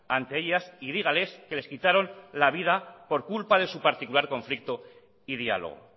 ante ellas y dígales que les quitaron la vida por culpa de su particular conflicto y diálogo